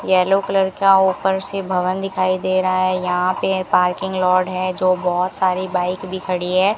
Yellow colour का ऊपर से भवन दिखाई दे रहा है यहां पे पार्किंग लॉड है जो बहोत सारी बाइक भी खड़ी है।